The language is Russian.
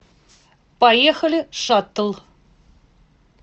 поехали шаттл